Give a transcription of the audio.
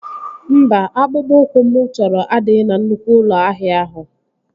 Mba, akpụkpọ ụkwụ mụ chọrọ adịghị na nnukwu ụlọ ahịa ahụ